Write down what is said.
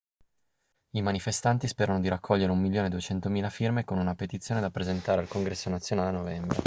i manifestanti sperano di raccogliere un milione e duecentomila firme con una petizione da presentare al congresso nazionale a novembre